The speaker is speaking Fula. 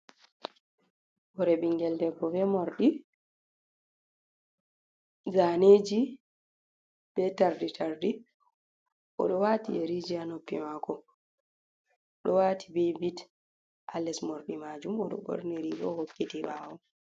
Hore bingel debbo be morɗi zaneji be tardi tardi, oɗo wati yeri ji ha noppi mako, ɗo wati be bit a les morɗi majum, oɗo ɓorni rigola hokkiti ɓawo.